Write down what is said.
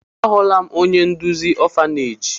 Ahụla m onye nduzi ọfaneeji.